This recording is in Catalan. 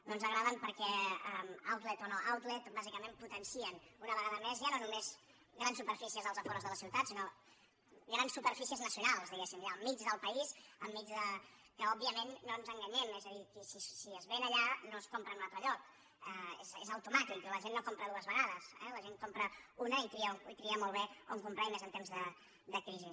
no ens agraden perquè outleten una vegada més ja no només grans superfícies als afores de la ciutat sinó grans superfícies nacio nals diguéssim al mig del país que òbviament no ens enganyem és a dir si es ven allà no es compra en un altre lloc és automàtic la gent no compra dues vegades eh la gent en compra una i tria molt bé on comprar i més en temps de crisi